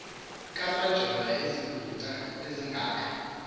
kamajola izigwinta azizanga